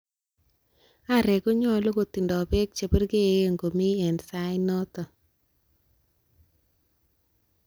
Areek konyolu kotindoi beek che purgeen komii en sai noton.